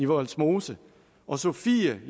vollsmose og sofie